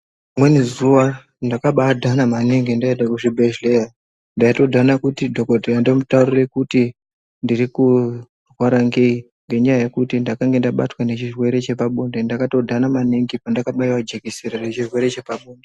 Rimweni zuwa ndakabaa dhana maningi ndaende kuzvibhedhleya ndaitodhana kuti dhokodheya ndomutaurira kuti ndiri kurwara ngei ngenyaya yekuti ndakange ndabatwa ngechirwere chepabonde ndakatodhana maningi pandakabaiwe jekisira rechirwere chepabonde.